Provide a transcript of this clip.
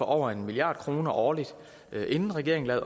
over en milliard kroner årligt inden regeringen